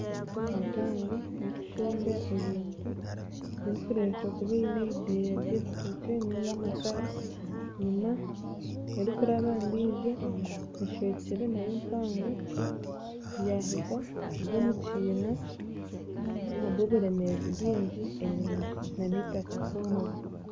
Motoka mpango erikushomba ebintu erikurebeka kuba eine ebideeya by'ebitookye niga amakara enyima erikuraba aha endiijo eshwekyere nayo mpango yaheza kugwa mukyina ahabw'oburemeezi bwingi enyima nanitaka kworobo